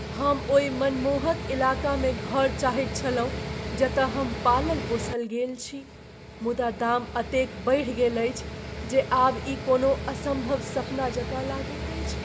हम ओहि मनमोहक इलाकामे घर चाहैत छलहुँ जतय हम पालल पोसल गेल छी, मुदा दाम एतेक बढ़ि गेल अछि जे आब ई कोनो असम्भव सपना जकाँ लगैत अछि।